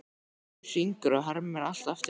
spyr Hringur og hermir allt eftir.